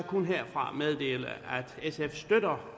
jeg herfra meddele at sf støtter